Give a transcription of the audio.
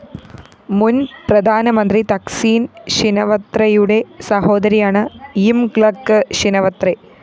മുന്‍ പ്രധാനമന്ത്രി തക്സീന്‍ ഷിനവത്രെയുടെ സഹോദരിയാണ്‌ യിംഗ്ലക്ക്‌ ഷിനവത്രെ